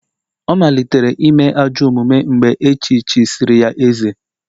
Ọ malitere ime ajọ omume mgbe echichisịrị ya eze